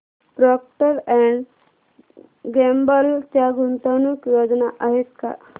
Procter and Gamble च्या गुंतवणूक योजना आहेत का